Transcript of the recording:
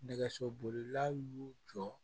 Nɛgɛso bolilaw y'u jɔ